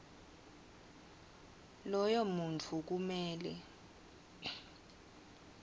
loyo muntfu kumele